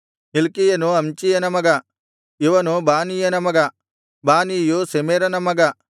ಹಿಲ್ಕೀಯನು ಅಮ್ಚೀಯನ ಮಗ ಇವನು ಬಾನೀಯನ ಮಗ ಬಾನೀಯು ಶೆಮೆರನ ಮಗ